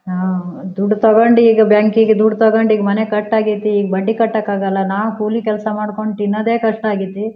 ನಾವು ದುಡ್ಡ್ ತಗೊಂಡಿ ಈಗ ಬ್ಯಾಂಕ್ ಕ್ಕಿಗೆ ದುಡ್ಡ್ ತೊಗೊಂಡಿ ಈಗ ಮನೆ ಕಟ್ಟ್ ಅಗೆತ್ತಿ ಈಗ ಬಡ್ಡಿ ಕಟ್ಟೋಕ್ಕೆ ಆಗೋಲ್ಲ ನಾವು ಕೊಲಿ ಕೆಲಸ ಮಾಡ್ಕೊಂಡ್ ತಿನೊಂದೆ ಕಷ್ಟ ಅಗೆತ್ತಿ.